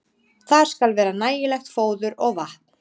Þar skal vera nægilegt fóður og vatn.